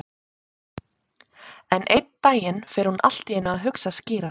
En einn daginn fer hún allt í einu að hugsa skýrar.